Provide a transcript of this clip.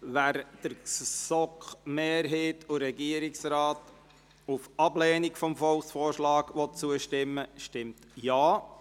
Wer dem Antrag GSoK-Mehrheit und Regierungsrat auf Ablehnung des Volksvorschlags zustimmen will, stimmt ja,